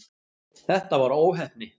Þetta var óheppni.